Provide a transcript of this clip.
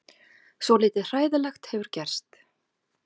Svolítið hræðilegt hefur gerst.